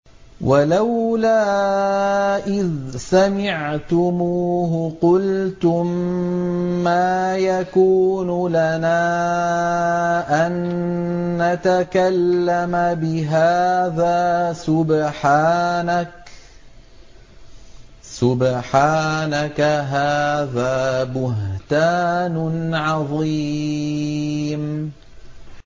وَلَوْلَا إِذْ سَمِعْتُمُوهُ قُلْتُم مَّا يَكُونُ لَنَا أَن نَّتَكَلَّمَ بِهَٰذَا سُبْحَانَكَ هَٰذَا بُهْتَانٌ عَظِيمٌ